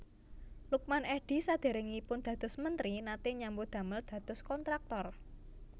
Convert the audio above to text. Lukman Edy sadèrèngipun dados mentri naté nyambut damel dados kontraktor